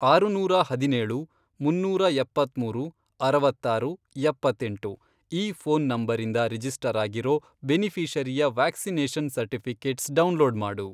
ಆರುನೂರಾ ಹದಿನೇಳು, ಮುನ್ನೂರಾ ಎಪ್ಪತ್ಮೂರು ,ಅರವತ್ತಾರು , ಎಪ್ಪತ್ತೆಂಟು, ಈ ಫ಼ೋನ್ ನಂಬರಿಂದ ರಿಜಿಸ್ಟರ್ ಆಗಿರೋ ಬೆನಿಫಿ಼ಷರಿಯ ವ್ಯಾಕ್ಸಿನೇಷನ್ ಸರ್ಟಿಫಿ಼ಕೇಟ್ಸ್ ಡೌನ್ಲೋಡ್ ಮಾಡು.